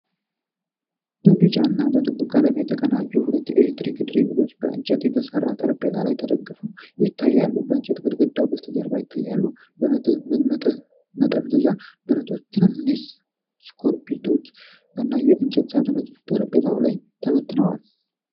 በቢጫና በጥቁር ቀለም የተቀናጁ ሁለት የኤሌክትሪክ ድሪሎች በእንጨት በተሰራ ጠረጴዛ ላይ ተደግፈው ይታያሉ። የእንጨት ግድግዳ ከበስተጀርባ ይታያል፤ መጠምዘዣ ብረቶች፣ ትንንሽ ስኮርፒዎች እና የእንጨት ሳጥንም ጠረጴዛው ላይ ተበትነዋል።